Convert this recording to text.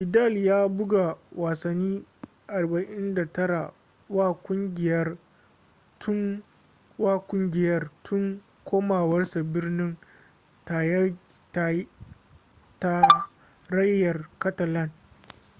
vidal ya buga wasanni 49 wa kungiyar tun komawarsa birnin tarayyar catalan